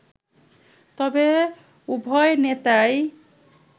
তবে উভয় নেতাই